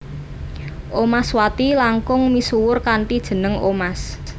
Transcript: Omaswati langkung misuwur kanthi jeneng Omas